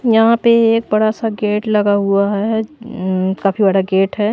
यहां पे एक बड़ा सा गेट लगा हुआ है काफी बड़ा गेट है।